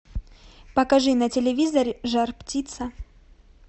покажи на телевизоре жар птица